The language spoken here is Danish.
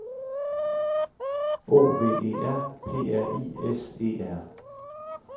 O V E R P R I S E R